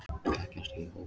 Þekkjast í hóp.